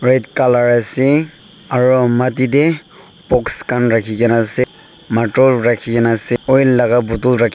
red colour ase aru maati te box khan rakhi kina ase matur rakhi kina ase oil laga bottle rakhi--